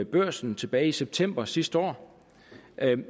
børsen tilbage i september sidste år